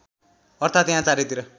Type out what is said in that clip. अर्थात् यहाँ चारैतिर